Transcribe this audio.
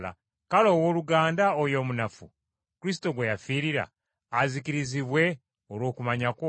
Kale owooluganda oyo omunafu, Kristo gwe yafiirira, azikirizibwe olw’okumanya kwo!